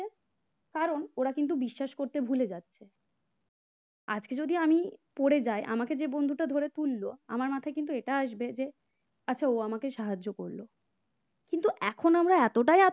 কারণ ওরা কিন্তু বিশ্বাস করতে ভুলে যাচ্ছে আজকে যদি আমি পড়ে যায় আমাকে যে বন্ধুটা ধরে তুলল আমার মাথায় কিন্তু এটা আসবে যে আচ্ছা ও আমাকে সাহায্য করল কিন্তু এখন আমরা এতটাই